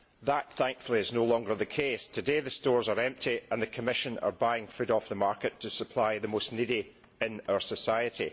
That, thankfully, is no longer the case. Today the stores are empty, and the Commission is buying food off the market to supply the neediest in our society.